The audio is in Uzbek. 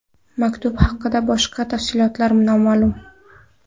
Maktub haqidagi boshqa tafsilotlar noma’lum.